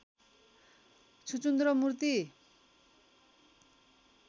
छुचुन्द्रो मूर्ति